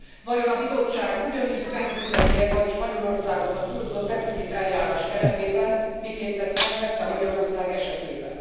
Vajon a Bizottság ugyanígy megbünteti e majd Spanyolországot a túlzottdeficit eljárás keretében, miként ezt megtette Magyarország esetében.